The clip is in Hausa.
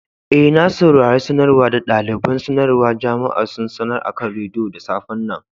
Eh, na saurare sanarwan da dalibain sanarwa jama'a sun sanar akan radiyo da safe'n nan.